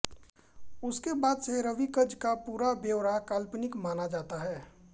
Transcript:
उसके बाद से राविक्ज़ का पूरा ब्यौरा काल्पनिक माना जाता रहा है